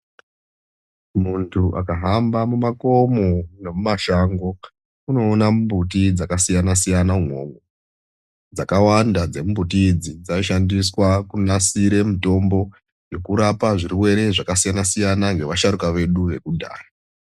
Muntu akahamba mumakomo nemumashango unoona mumbuti dzakasiyana siyana umwomwo dzakawanda dzemumbuti dzo dzinoshandiswa kunasira mitombo yekurapa zvirwere zvakasiyana siyana zvekurapa vasharuka vedu vekudhaya.